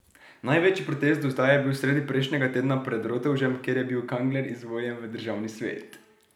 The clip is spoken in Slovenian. Največji protest do zdaj je bil sredi prejšnjega tedna pred Rotovžem, kjer je bil Kangler izvoljen v državni svet.